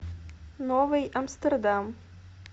новый амстердам